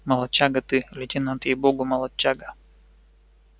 молодчага ты лейтенант ей богу молодчага